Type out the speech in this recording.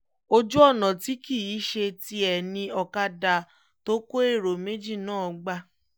ojú ọ̀nà tí kì í ṣe tiẹ̀ ni ọ̀kadà tó kó èrò méjì náà gbà